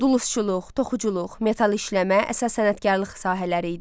Dulusçuluq, toxuculuq, metal işləmə əsas sənətkarlıq sahələri idi.